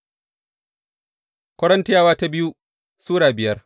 biyu Korintiyawa Sura biyar